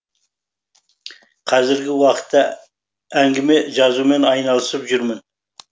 қазіргі уақытта әңгіме жазумен айналысып жүрмін